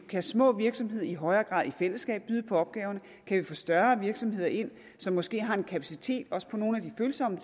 kan små virksomheder i højere grad i fællesskab byde på opgaverne kan vi få større virksomheder ind som måske har en kapacitet også på nogle af de følsomme